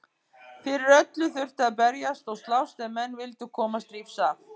Fyrir öllu þurfti að berjast og slást ef menn vildu komast lífs af.